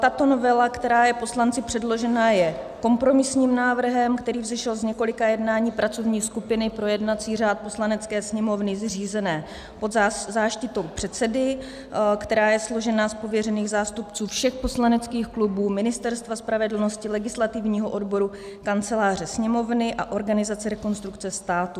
Tato novela, která je poslanci předložena, je kompromisním návrhem, který vzešel z několika jednání pracovní skupiny pro jednací řád Poslanecké sněmovny zřízené pod záštitou předsedy, která je složena z pověřených zástupců všech poslaneckých klubů, Ministerstva spravedlnosti, Legislativního odboru Kanceláře sněmovny a organizace Rekonstrukce státu.